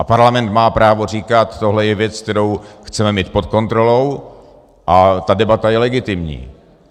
A Parlament má právo říkat, tohle je věc, kterou chceme mít pod kontrolou, a ta debata je legitimní.